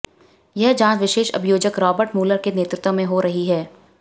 यह जांच विशेष अभियोजक रॉबर्ट मुलर के नेतृत्व में हो रही है